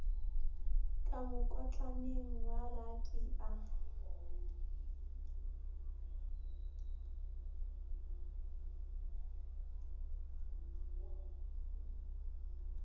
ka mokotlaneng wa baki a